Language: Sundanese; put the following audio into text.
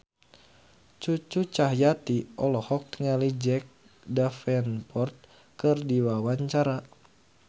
Cucu Cahyati olohok ningali Jack Davenport keur diwawancara